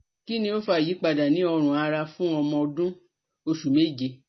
Kini o fa iyipada ni orun ara fun omo odun osu meje?